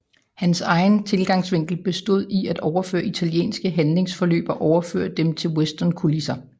Hans egen tilgangsvinkel bestod i at overføre italienske handlingsforløb og overføre dem til westernkulisser